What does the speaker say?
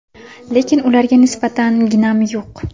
Lekin ularga nisbatan ginam yo‘q.